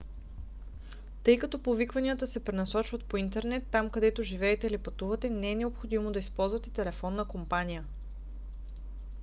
тъй като повикванията се пренасочват по интернет там където живеете или пътувате не е необходимо да използвате телефонна компания